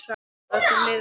Og að öllum liði vel.